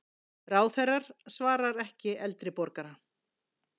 Ráðherrar svara ekki eldri borgara